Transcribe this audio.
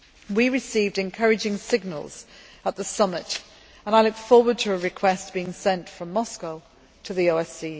We received encouraging signals at the summit, and I look forward to a request being sent from Moscow to the OSCE.